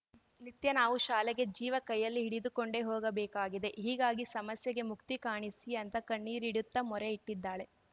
ನಿತ್ಯ ನಾವು ಶಾಲೆಗೆ ಜೀವ ಕೈಯಲ್ಲಿ ಹಿಡಿದುಕೊಂಡೇ ಹೋಗಬೇಕಾಗಿದೆ ಹೀಗಾಗಿ ಸಮಸ್ಯೆಗೆ ಮುಕ್ತಿ ಕಾಣಿಸಿ ಅಂತ ಕಣ್ಣೀರಿಡುತ್ತಾ ಮೊರೆ ಇಟ್ಟಿದ್ದಾಳೆ